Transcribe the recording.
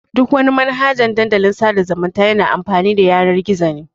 Duk wani Manhaja Dandalin sada zumunta yana amfani da Yanan-gizo ne.